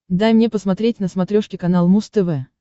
дай мне посмотреть на смотрешке канал муз тв